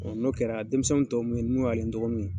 Ɔ n'o kɛra denmisɛnnin tɔw mun be ye n'olu ale dɔgɔniw ye